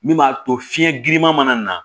Min b'a to fiɲɛ giriman mana na